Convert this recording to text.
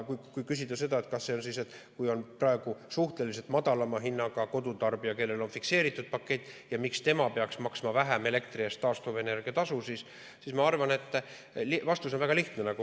Kui küsida, miks praegu see kodutarbija, kellel on suhteliselt madalam hind, sest tal on fikseeritud pakett, peaks maksma vähem elektri eest taastuvenergia tasu, siis ma arvan, et vastus on väga lihtne.